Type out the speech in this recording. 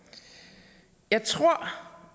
jeg tror